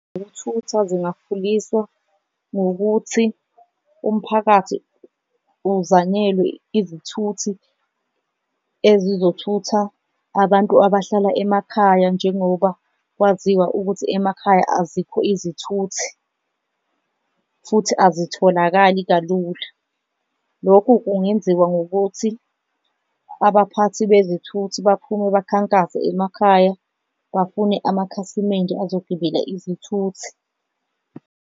Ezokuthatha zingakhuliswa ngokuthi umphakathi uzanyelwe izithuthi ezizothutha abantu abahlala emakhaya njengoba kwaziwa ukuthi emakhaya azikho izithuthi futhi azitholakali kalula, lokhu kungenziwa ngokuthi abaphathi bezithuthi baphume bakhankase emakhaya, bafune amakhasimende azogibela izithuthi.